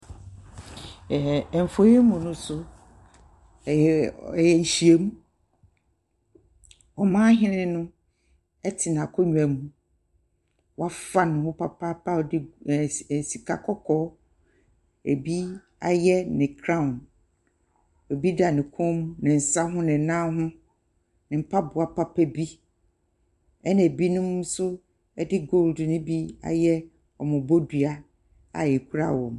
Mfonyin yi mu no so, ɛyɛ nhyiamu, ɔmanhene no ɛte nakongua mu, wafa ne ho papaapa a ɔde sika kɔkɔɔ ɛbi ayɛ kraawo, ɛbi da me kɔn mu, ne nsa ho, ne nan ho, ne mpaboa papa bi ɛna ɛbinom nso ɛde goodu no bi ayɛ wɔnnom dua a, ɛkura wɔnnom.